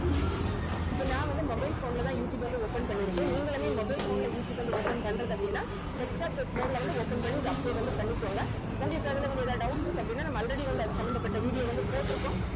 இப்ப நான் வந்து mobile phone ல தான் யூட்டியூப் வந்து open பண்ணியிருக்கேன் நீங்களுமே mobile phone ல யூட்டியூப் வந்து open பண்றது அப்படினா desktop set mode ல வந்து open பண்ணி இதை upload வந்து பண்ணிகோங்க உங்களுக்கு அதுல வந்து எதாவது doubt இருக்கு அப்படின்னா நம்ம already வந்து அது சம்பந்தப்பட்ட video வந்து போட்டிருக்கோம்